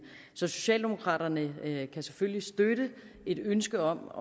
så socialdemokraterne kan selvfølgelig støtte et ønske om